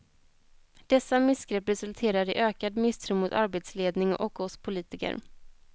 Dessa missgrepp resulterar i ökad misstro mot arbetsledning och oss politiker.